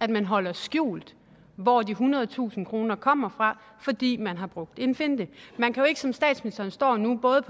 at man holder skjult hvor de ethundredetusind kroner kommer fra fordi man har brugt en finte man kan jo ikke som statsministeren står nu både